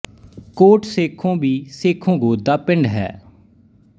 ਕੋਟ ਸੇਖੋਂ ਵੀ ਸੇਖੋਂ ਗੋਤ ਦਾ ਪਿੰਡ ਹੈ